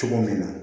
Cogo min na